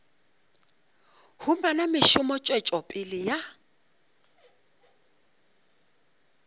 humana mešomo tswetšo pele ya